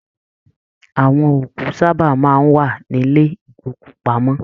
Àwọn òkú sábà máa n wà nílẹ̀ ìgbòkúpamọ.